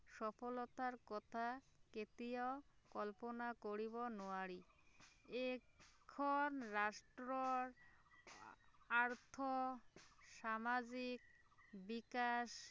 সফলতাৰ কথা কেতিয়াও কল্পনা কৰিব নোৱাৰি এইখন ৰাষ্ট্ৰৰ অৰ্থ সামাজিক বিকাশ